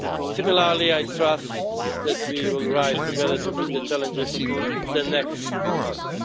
Similarly, I trust that we will rise together to meet the challenges of the next months.